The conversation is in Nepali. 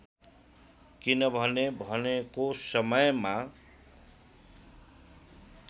किनभने भनेको समयमा